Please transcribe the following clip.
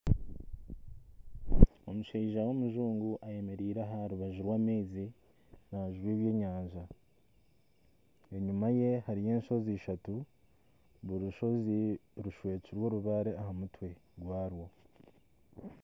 Omushaija w'omujungu ayemereire aha rubaju rw'amaizi naajuba ebyenyanja. Enyima ye hariyo enshozi ishatu zishwekirwe orubaare aha mutwe gwazo.